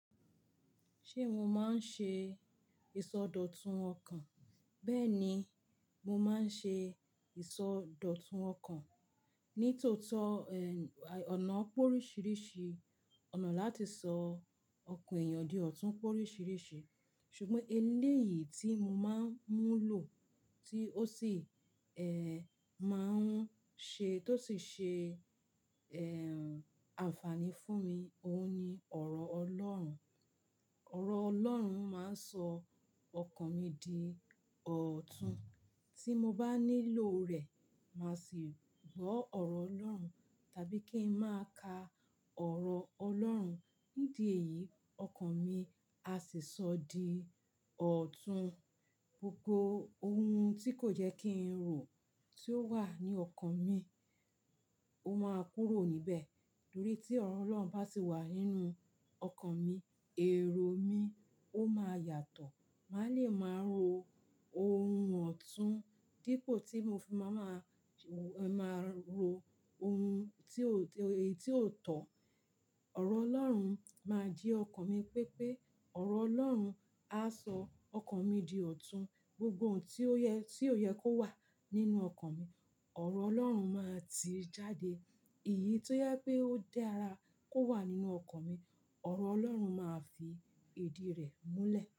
Ṣé mo máa ń ṣe ìsọdọ̀tun ọkàn? Bẹ́ẹ̀ ni, mo máa ń ṣe ìsọdọ̀tun ọkàn ní tòótọ́, ẹ́, ọ̀nà pórísirìṣì, ọ̀nà láti sọ ọkàn èèyàn di ọ̀tún pórísirìṣì. Ṣùgbọ́n eléyìí tí mo máa ń mú lò tí ó sì, ẹ́, máa ń ṣe, tó sì ṣe, ẹ́, àǹfààní fún mi, òun ni ọ̀rọ̀ Ọlọ́run. Ọ̀rọ̀ Ọlọ́run máa ń sọ ọkàn mi di ọ̀tún. Tí mo bá nílò rẹ̀, màá sì gbọ́ ọ̀rọ̀ Ọlọ́run tàbí kí ń máa ka ọ̀rọ̀ Ọlọ́run. Ní di èyí, ọkàn mi a sì sọ di ọ̀tún. Gbogbo ohun tí kò jẹ́ kí ń rò tí ó wà ní ọkàn mi, ó máa kúrò níbẹ̀. Torí tí ọ̀rọ̀ Ọlọ́run bá sì wà nínú ọkàn mi, èrò mi ó máa yàtọ̀. Màá le máa ro ohun ọ̀tún dípò tí mo fi máa ma, ẹ́, máa ro ohun tí ó, èyí tí ó tọ̀. Ọ̀rọ̀ Ọlọ́run máa jí ọkàn mi pé pé ọ̀rọ̀ Ọlọ́run á sọ ọkàn mi di ọ̀tún. Gbogbo ohun tí ó yẹ, tí ò yẹ kó wà nínú ọkàn mi, ọ̀rọ̀ Ọlọ́run máa ti í jáde. Èyí tí ó yẹ pé ó dára kó wà nínú ọkàn mi, ọ̀rọ̀ Ọlọ́run máa fi èdi rẹ̀ múlẹ̀.